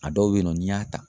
A dɔw be yen nɔ ni y'a ta